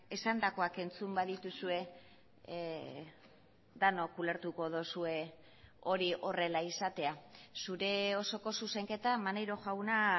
esandakoak entzun badituzue denok ulertuko duzue hori horrela izatea zure osoko zuzenketa maneiro jauna